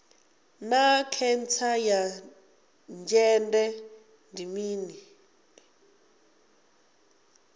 naa khentsa ya dzhende ndi mini